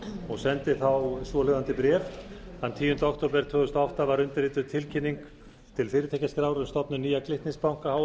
og sendi þá svohljóðandi bréf þann tíunda október tvö þúsund og átta var undirrituð tilkynning til fyrirtækjaskrár um stofnun nýja glitnis banka